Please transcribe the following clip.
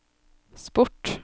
sport